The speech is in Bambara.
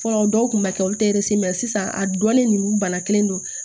Fɔlɔ dɔw kun b'a kɛ olu tɛ sisan a dɔnnen ninnu bana kelen do